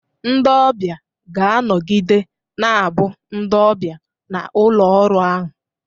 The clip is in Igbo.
Ndị ọbịa ga-anọgide na-abụ ndị ọbịa na ụlọ ọrụ ahụ.